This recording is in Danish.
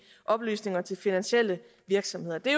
oplysninger til finansielle virksomheder det